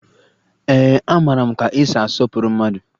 Ee, amara m ka esi asọpụrụ mmadụ